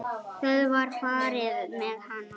Það var farið með hana.